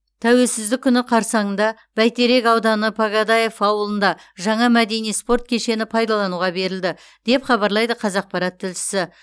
тәуелсіздік күні қарсаңында бәйтерек ауданы погодаев ауылында жаңа мәдени спорт кешені пайдалануға берілді деп хабарлайды қазақпарат тілшісі